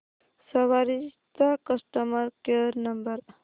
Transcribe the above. सवारी चा customer care number